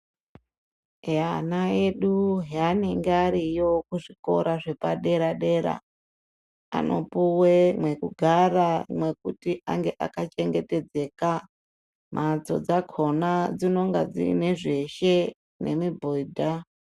Eya ana edu zvanenge ariyo kuzvikora zvepadera dera vanopuwa mekugara mekunge mwakacheketedzeka nekuti mbatso dzakona dzinonga dzine zveshe nemibhedha.